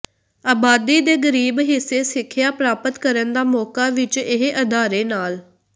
ਆਬਾਦੀ ਦੇ ਗਰੀਬ ਹਿੱਸੇ ਸਿੱਖਿਆ ਪ੍ਰਾਪਤ ਕਰਨ ਦਾ ਮੌਕਾ ਵਿੱਚ ਇਹ ਅਦਾਰੇ ਨਾਲ